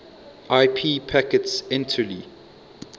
ip packets entirely